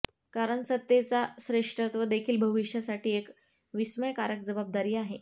कारण सत्तेचा श्रेष्ठत्व देखील भविष्यासाठी एक विस्मयकारक जबाबदारी आहे